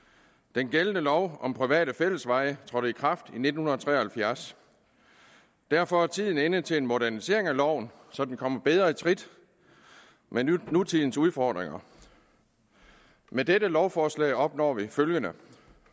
den gældende lov om private fællesveje trådte i kraft i nitten tre og halvfjerds og derfor er tiden inde til en modernisering af loven så den kommer bedre i trit med nutidens udfordringer med dette lovforslag opnår vi følgende